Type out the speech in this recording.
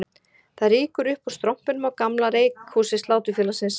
Það rýkur upp úr strompinum á gamla reykhúsi Sláturfélagsins